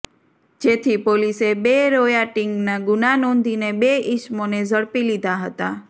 જેથી પોલીસે બે રોયાટીંગના ગુના નોંધીને બે ઈસમોને ઝડપી લીધા હતાં